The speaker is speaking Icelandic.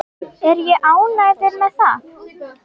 Er ég ánægður með það?